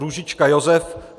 Růžička Josef